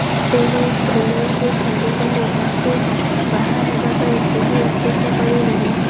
ତେଣୁ ତୃଣାକୁ ଛାଡ଼ିଗଲେ ତାକୁ ବାହାହେବା ପାଇଁ କେହି ଅପେକ୍ଷା କରି ନାହିଁ